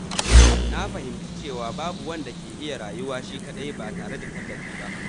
Na fahimci cewa babu wanda ke iya rayuwa shi kaɗai ba tare da tallafi ba.